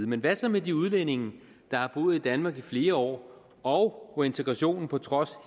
men hvad så med de udlændinge der har boet i danmark i flere år og hvor integrationen på trods